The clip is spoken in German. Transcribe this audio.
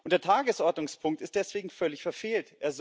Der Tagesordnungspunkt ist deswegen völlig verfehlt.